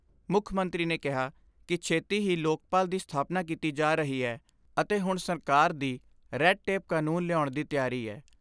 ਮੁੱਖ ਮੰਤਰੀ ਨੇ ਕਿਹਾ ਕਿ ਛੇਤੀ ਹੀ ਲੋਕਪਾਲ ਦੀ ਸਥਾਪਨਾ ਕੀਤੀ ਜਾ ਰਹੀ ਐ ਅਤੇ ਹੁਣ ਸਰਕਾਰ ਦੀ ' ਰੈਡ ਟੇਪ ਕਾਨੂੰਨ ' ਲਿਆਉਣ ਦੀ ਤਿਆਰੀ ਐ।